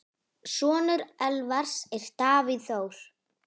Sonur Elvars er Davíð Þór.